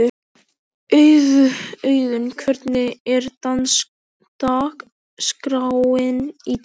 Auðun, hvernig er dagskráin í dag?